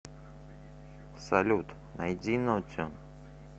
салют найди нотион